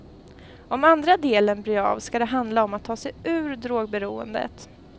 Om andra delen blir av skall den handla om att ta sig ur drogberoendet.